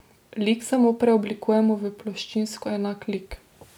Lik samo preoblikujemo v ploščinsko enak lik.